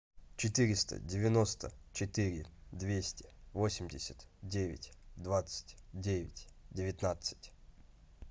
четыреста девяносто четыре двести восемьдесят девять двадцать девять девятнадцать